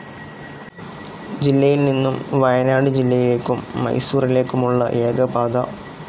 ജില്ലയിൽനിന്നും വയനാട് ജില്ലയിലേക്കും മൈസൂറിലേക്കുമുള്ള ഏകപാത.